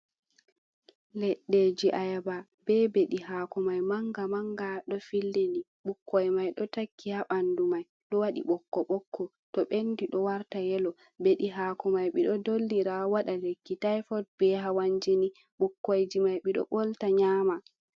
Leɗɗeji ayaba be beɗi hako mai manga manga ɗo fillini ɓukkoi mai ɗo takki ha ɓandu mai ɗo waɗi ɓokko ɓokko, to ɓendi ɗo warta yelo beɗi hako mai ɓeɗo dollira waɗa lekki tifod be hawan jini ɓukkoyji mai ɓeɗo ɓolta nyama.